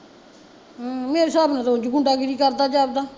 ਹਮ ਮੇਰੇ ਹਿਸਾਬ ਨਾਲ਼ ਤਾਂ ਉਂਜ ਹੀਂ ਗੁੰਡਾਗਿਰੀ ਕਰਦਾ ਜਾਪਦਾ